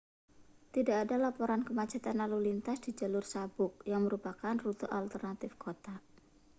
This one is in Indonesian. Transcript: tidak ada laporan kemacetan lalu lintas di jalur sabuk yang merupakan rute alternatif kota